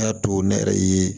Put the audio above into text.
A y'a to ne yɛrɛ ye